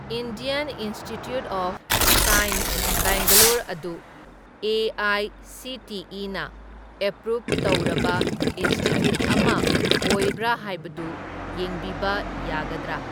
Indian Institute of Science Bangalore ꯑꯗꯨ ꯑꯦ.ꯑꯥꯏ.ꯁꯤ.ꯇꯤ.ꯏ.ꯅ approve ꯇꯧꯔꯕ ꯏꯟꯁ꯭ꯇꯤꯇ꯭ꯌꯨꯠ ꯑꯃ ꯑꯣꯏꯕ꯭ꯔꯥ ꯍꯥꯏꯕꯗꯨ ꯌꯦꯡꯕꯤꯕ ꯌꯥꯒꯗ꯭ꯔꯥ?